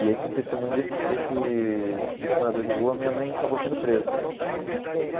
E aí, com o testemunho desse desse desse desse morador de rua, minha mãe acabou sendo presa.